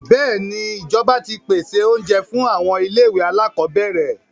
Bẹ́èni, ìjọba ti pèsè oúnjẹ fún àwọn ilé-ìwé alákọọ́bẹ̀rẹ̀.